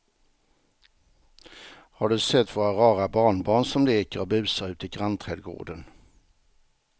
Har du sett våra rara barnbarn som leker och busar ute i grannträdgården!